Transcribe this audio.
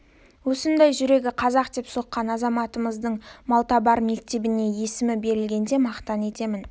осындай жүрегі қазақ деп соққан азаматымыздың малтабар мектебіне есімі берілгеніне мақтан етемін